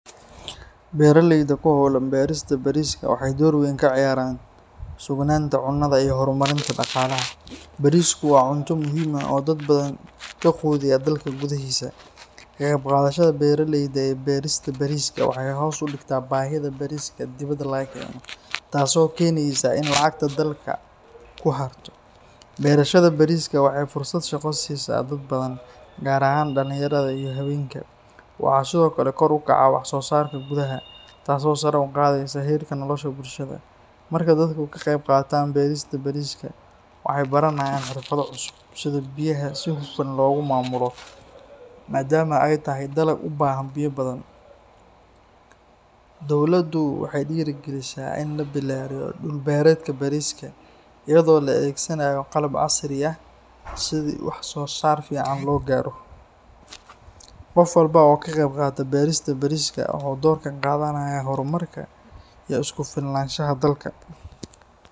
Beeraleyda ku hawlan beerista bariiska waxay door weyn ka ciyaaraan sugnaanta cunnada iyo horumarinta dhaqaalaha. Bariisku waa cunto muhiim ah oo dad badan ka quudiya dalka gudaahiisa. Ka qeybqaadashada beeralayda ee beerista bariiska waxay hoos u dhigtaa baahida bariiska dibadda laga keeno, taas oo keenaysa in lacagta dalka ku harto. Beerashada bariiska waxay fursad shaqo siisaa dad badan, gaar ahaan dhallinyarada iyo haweenka. Waxaa sidoo kale kor u kaca wax soo saarka gudaha, taasoo sare u qaadaysa heerka nolosha bulshada. Marka dadku ka qeybqaataan beerista bariiska, waxay baranayaan xirfado cusub iyo sida biyaha si hufan loogu maamulo, maadaama ay tahay dalag u baahan biyo badan. Dawladdu waxay dhiirrigelisaa in la ballaariyo dhul beereedka bariiska, iyadoo la adeegsanayo qalab casri ah si wax soo saar fiican loo gaaro. Qof walba oo ka qeybqaata beerista bariiska wuxuu door ka qaadanayaa horumarka iyo isku filnaanshaha dalka.